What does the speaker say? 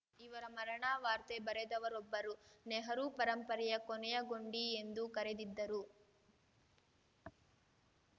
ಇವರ ಮರಣವಾರ್ತೆ ಬರೆದವರೊಬ್ಬರು ನೆಹರು ಪರಂಪರೆಯ ಕೊನೆಯ ಗೊಂಡಿ ಎಂದು ಕರೆದಿದ್ದರು